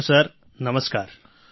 hello સરનમસ્કાર